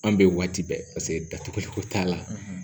An bɛ waati bɛɛ paseke datuguliko t'a la